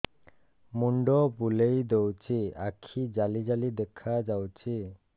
ମୁଣ୍ଡ ବୁଲେଇ ଦଉଚି ଆଖି ଜାଲି ଜାଲି ଦେଖା ଯାଉଚି